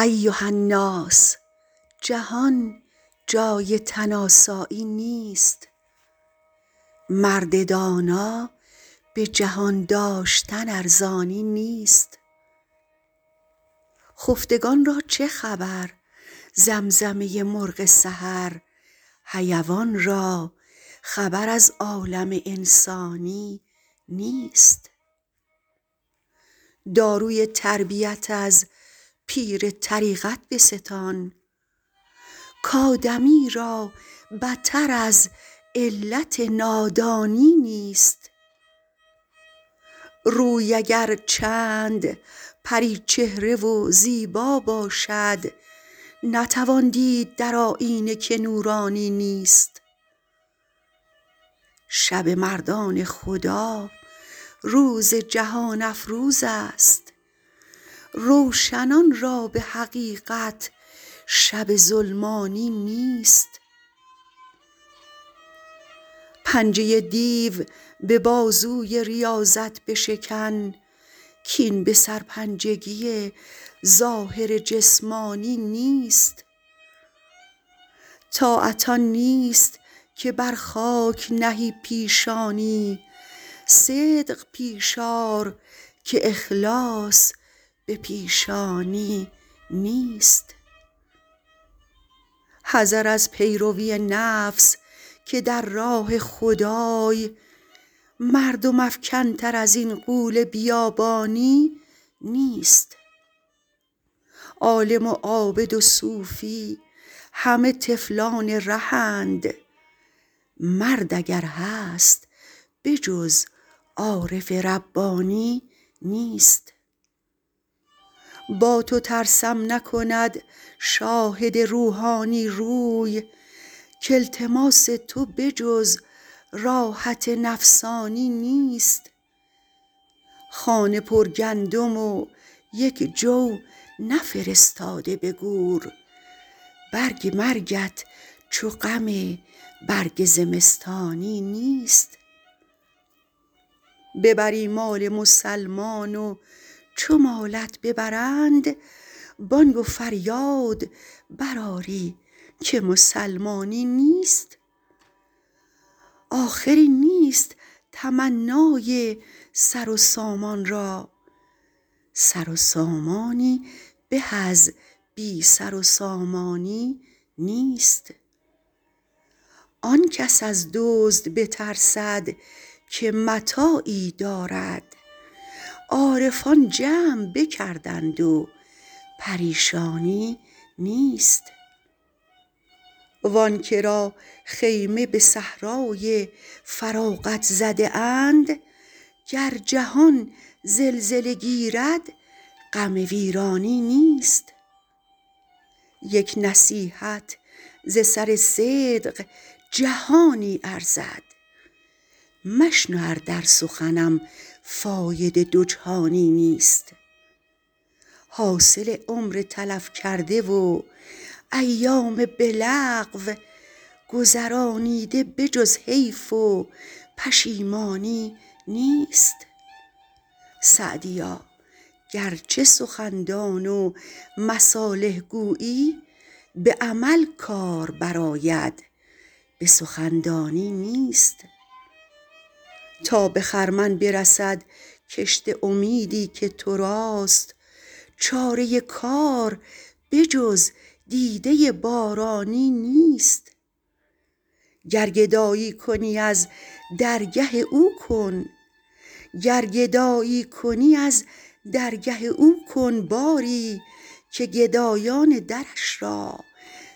ایهاالناس جهان جای تن آسانی نیست مرد دانا به جهان داشتن ارزانی نیست خفتگان را چه خبر زمزمه مرغ سحر حیوان را خبر از عالم انسانی نیست داروی تربیت از پیر طریقت بستان کادمی را بتر از علت نادانی نیست روی اگر چند پری چهره و زیبا باشد نتوان دید در آیینه که نورانی نیست شب مردان خدا روز جهان افروزست روشنان را به حقیقت شب ظلمانی نیست پنجه دیو به بازوی ریاضت بشکن کاین به سرپنجگی ظاهر جسمانی نیست طاعت آن نیست که بر خاک نهی پیشانی صدق پیش آر که اخلاص به پیشانی نیست حذر از پیروی نفس که در راه خدای مردم افکن تر ازین غول بیابانی نیست عالم و عابد و صوفی همه طفلان رهند مرد اگر هست به جز عارف ربانی نیست با تو ترسم نکند شاهد روحانی روی کالتماس تو به جز راحت نفسانی نیست خانه پرگندم و یک جو نفرستاده به گور برگ مرگت چو غم برگ زمستانی نیست ببری مال مسلمان و چو مالت ببرند بانگ و فریاد برآری که مسلمانی نیست آخری نیست تمنای سر و سامان را سر و سامانی به از بی سر و سامانی نیست آن کس از دزد بترسد که متاعی دارد عارفان جمع بکردند و پریشانی نیست وانکه را خیمه به صحرای فراغت زده اند گر جهان زلزله گیرد غم ویرانی نیست یک نصیحت ز سر صدق جهانی ارزد مشنو ار در سخنم فایده دو جهانی نیست حاصل عمر تلف کرده و ایام به لغو گذرانیده به جز حیف و پشیمانی نیست سعدیا گرچه سخندان و مصالح گویی به عمل کار برآید به سخندانی نیست تا به خرمن برسد کشت امیدی که تراست چاره کار به جز دیده بارانی نیست گر گدایی کنی از درگه او کن باری که گدایان درش را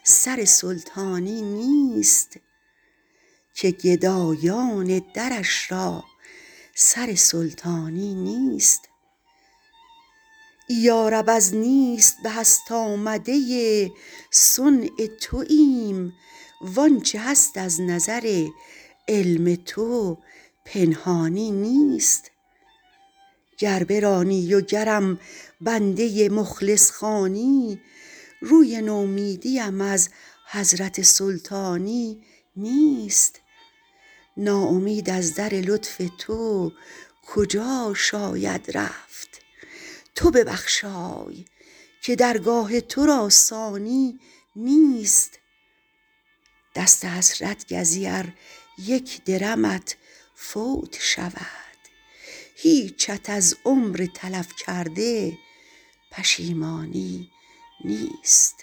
سر سلطانی نیست یارب از نیست به هست آمده صنع توایم وانچه هست از نظر علم تو پنهانی نیست گر برانی و گرم بنده مخلص خوانی روی نومیدیم از حضرت سلطانی نیست ناامید از در لطف تو کجا شاید رفت تو ببخشای که درگاه تو را ثانی نیست دست حسرت گزی ار یک درمت فوت شود هیچت از عمر تلف کرده پشیمانی نیست